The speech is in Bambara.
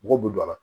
Mɔgɔw bɛ don a la